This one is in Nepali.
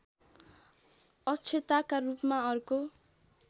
अक्षताका रूपमा अर्को